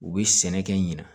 U bɛ sɛnɛ kɛ ɲinɛn